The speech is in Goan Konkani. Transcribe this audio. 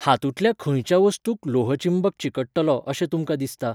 हातूंतल्या खंयच्या वस्तूंक लोहचुंबक चिकट्टलो अशें तुमकां दिसता?